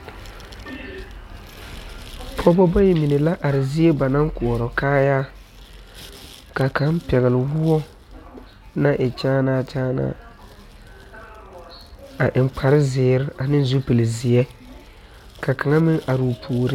Pɔɔbɔ bayi mine la are zie ba naŋ maŋ koɔrɔ kaayaa ka kaŋ pɛgle woɔ naŋ e kyaanaa kyaanaa a eŋ kparezeere ne zupile zeɛ ka kaŋa meŋ aroo puoriŋ.